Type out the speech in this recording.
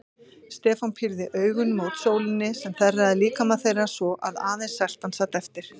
Stefán pírði augun mót sólinni sem þerraði líkama þeirra svo að aðeins seltan sat eftir.